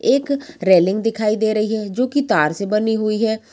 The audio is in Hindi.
एक रेलिंग दिखाई दे रही हैं जो कि तार से बनी हुई है।